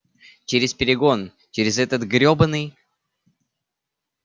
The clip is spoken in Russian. через перегон через этот гребаный